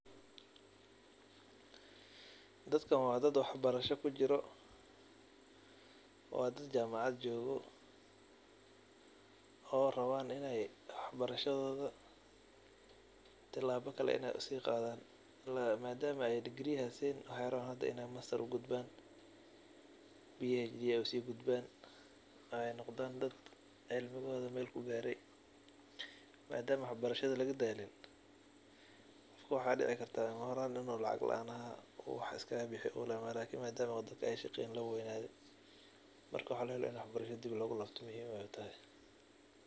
Dadkan waxa waye dad wax barasho kujiro oo jamacad jogan oo rawan in ey tilabo kale siqadan oo madama hada digri hestaan in ey mastar ugudban oo bhd ugdban ay noqdan dad cimligoda meel kugare madama wax barasho lagadalin qof lacag leeh oo hada wax bo garaneynin marka waxa fican in wax barashada dib logulabto.